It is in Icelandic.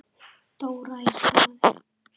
Dóra í Skarði.